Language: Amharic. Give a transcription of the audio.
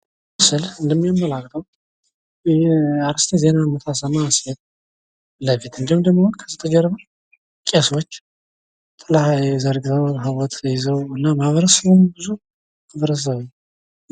ይህ ምስል እንደሚያመላክተው የአርስተ ዜና የምታሰማ ሴት ፊት ለፊት እንዲሁም ደሞ ጋዜጠኛ ደሞ ቄሶች ጥላ ዘርግተው ታቦት ይዘው እና ማህበረሰቡም ብዙ ሁኖ